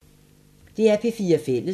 DR P4 Fælles